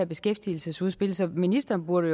beskæftigelsesudspil så ministeren burde